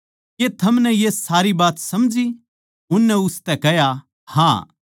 के थमनै ये सारी बात समझी उननै उसतै कह्या हाँ